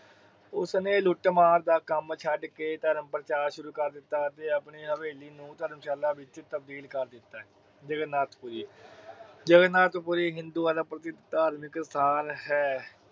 ਉਸ ਨੇ ਲੁੱਟ-ਮਾਰ ਦਾ ਕੰਮ ਛੱਡ ਕੇ ਧਰਮ ਪ੍ਰਚਾਰ ਸ਼ੁਰੂ ਕਰ ਦਿਤਾ ਅਤੇ ਆਪਣੀ ਹਵੇਲੀ ਨੂੰ ਧਰਮਸ਼ਾਲਾ ਵਿੱਚ ਤਬਦੀਲ ਕਰ ਦਿਤਾ। ਜਗਾਰਨਾਥਪੁਰੀ ਹਿੰਦੂਆਂ ਦਾ ਪਵਿੱਤਰ ਧਾਰਮਿਕ ਸਥਾਨ ਹੈ।